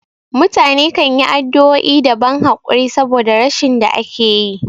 Mutane kanyi addu'o'i da ban hakuri saboda rashin da akayi